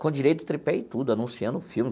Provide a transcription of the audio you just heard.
com direito, tripé e tudo, anunciando o filme.